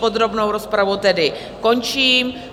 Podrobnou rozpravu tedy končím.